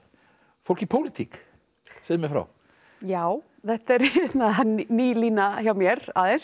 fólk í pólitík segðu mér frá já þetta er ný lína hjá mér aðeins